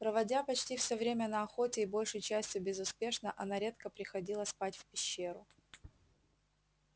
проводя почти все время на охоте и большей частью безуспешно она редко приходила спать в пещеру